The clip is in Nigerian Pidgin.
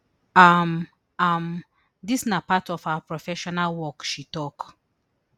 um um dis na part of our professional work she tok